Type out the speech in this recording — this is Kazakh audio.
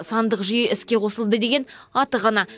сандық жүйе іске қосылды деген аты ғана